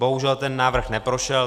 Bohužel ten návrh neprošel.